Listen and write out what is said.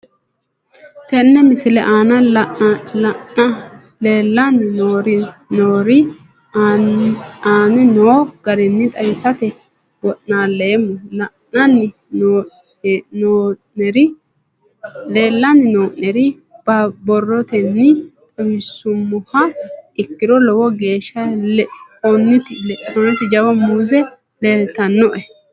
Tene misile aana leelanni nooerre aane noo garinni xawisate wonaaleemmo. Leelanni nooerre borrotenni xawisummoha ikkiro lowo geesha leinotti waajo muuze leeltanoe.